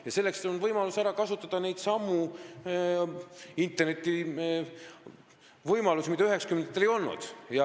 Ja selleks on võimalik ära kasutada neidsamu internetivõimalusi, mida 1990-ndatel ei olnud.